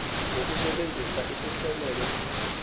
ngokusebenzisa isihlomelo esithi